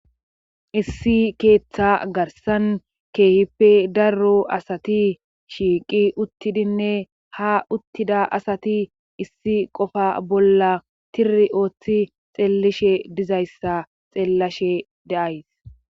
Issi keeththa garsan keehippe darro asati shiiqi uttidinne ha uttida asati issi qofa bolla tiri ooththi xeellishe dizayssa xeellishe daays